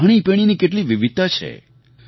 ખાણીપીણીની કેટલી વિવિધતા છે